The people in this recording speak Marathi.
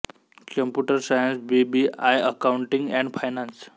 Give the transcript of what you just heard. computer science B B I accounting and finance